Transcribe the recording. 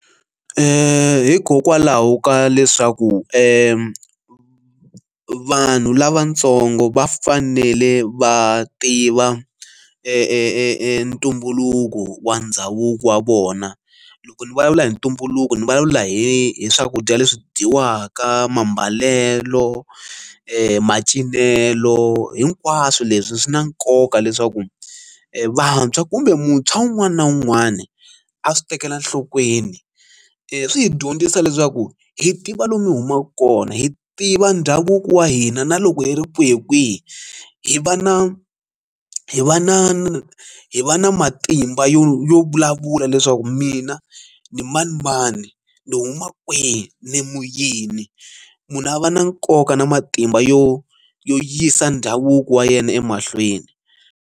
Hikokwalaho ka leswaku vanhu lavatsongo va fanele va tiva ntumbuluko wa ndhavuko wa vona, loko ni vulavula hi ntumbuluko ni vulavula hi swakudya leswi dyiwaka, mambalelo macinelo. Hinkwaswo leswi swi na nkoka leswaku vantshwa kumbe muntshwa wun'wana na wun'wana a swi tekela enhlokweni, swi hi dyondzisa leswaku hi tiva lomu hi humaka kona hi tiva ndhavuko wa hina na loko hi ri kwihi kwihi hi va na hi va na na hi va na matimba yo yo vulavula leswaku mina ni manimani ni huma kwihi ni mu yini, munhu a va na nkoka na matimba yo yo yisa ndhavuko wa yena emahlweni.